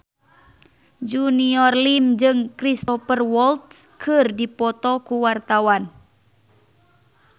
Junior Liem jeung Cristhoper Waltz keur dipoto ku wartawan